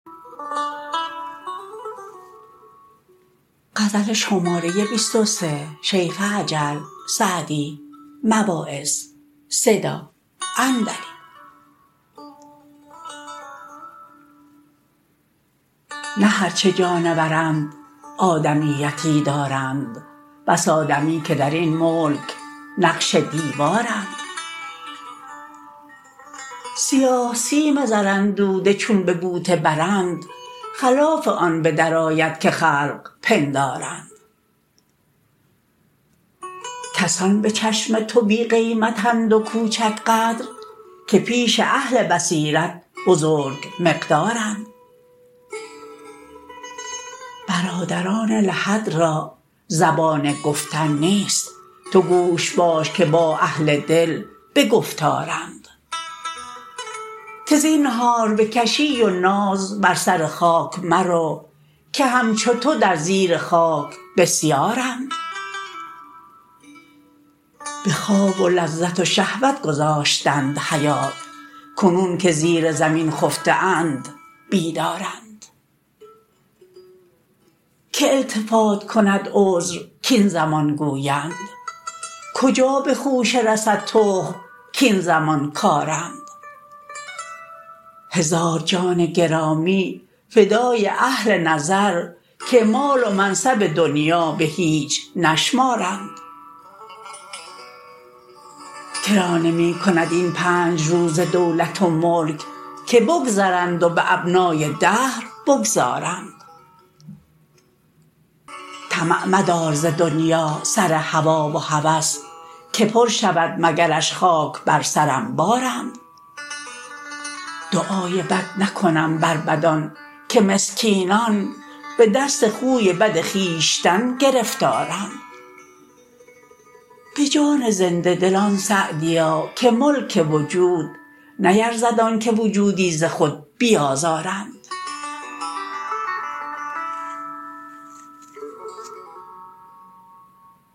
نه هرچه جانورند آدمیتی دارند بس آدمی که در این ملک نقش دیوارند سیاه سیم زراندوده چون به بوته برند خلاف آن به درآید که خلق پندارند کسان به چشم تو بی قیمت اند و کوچک قدر که پیش اهل بصیرت بزرگ مقدارند برادران لحد را زبان گفتن نیست تو گوش باش که با اهل دل به گفتارند که زینهار به کشی و ناز بر سر خاک مرو که همچو تو در زیر خاک بسیارند به خواب و لذت و شهوت گذاشتند حیات کنون که زیر زمین خفته اند بیدارند که التفات کند عذر کاین زمان گویند کجا به خوشه رسد تخم کاین زمان کارند هزار جان گرامی فدای اهل نظر که مال و منصب دنیا به هیچ نشمارند که را نمی کند این پنج روزه دولت و ملک که بگذرند و به ابنای دهر بگذارند طمع مدار ز دنیا سر هوا و هوس که پر شود مگرش خاک بر سر انبارند دعای بد نکنم بر بدان که مسکینان به دست خوی بد خویشتن گرفتارند به جان زنده دلان سعدیا که ملک وجود نیرزد آن که وجودی ز خود بیازارند